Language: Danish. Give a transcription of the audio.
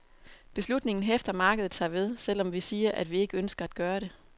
Beslutningen hæfter markedet sig ved, selv om vi siger, at vi ikke ønsker at gøre det.